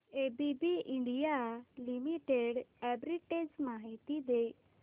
ABB India Limited arbitrage माहिती दे